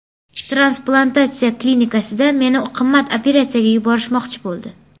Transplantatsiya klinikasida meni qimmat operatsiyaga yuborishmoqchi bo‘ldi.